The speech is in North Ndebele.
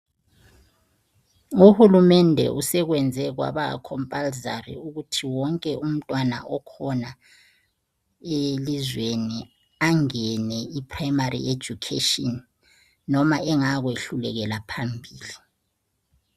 Uhulumende usekwenze kwaba compulsory ukuthi wonke umntwana ikhona elizweni angene iprimary education noma engayakwehlulekela phambili.